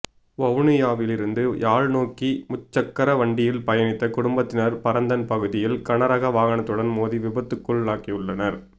வவுனியாவிலிருந்து யாழ் நோக்கி முச்சக்கர வண்டியில் பயணித்த குடும்பத்தினர் பரந்தன் பகுதியில் கனரக வாகனத்துடன் மோதி விபத்துக்குள்ளாகியுள்ளனர்